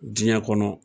Diɲɛ kɔnɔ